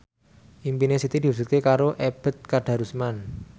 impine Siti diwujudke karo Ebet Kadarusman